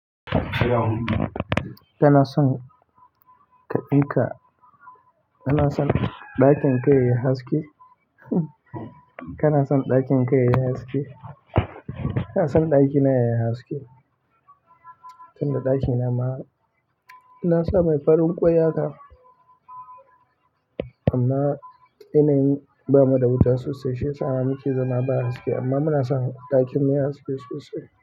Kana son ɗakin ka yayi haske? Kana son ɗakin ka yayi haske? Ina son ɗakina yayi haske? Tunda ɗakina ma na sa mai farin ƙoya ka, amma yanayin ba mu da wuta sosai shiyasa muke zama ba haske amma muna son ɗakin mu yayi haske sosai.